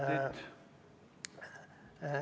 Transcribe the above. Saab kolm minutit.